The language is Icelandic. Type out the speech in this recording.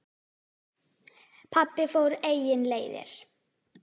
Pabbi fór eigin leiðir.